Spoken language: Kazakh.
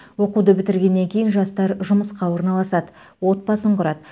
оқуды бітіргеннен кейін жастар жұмысқа орналасады отбасын құрады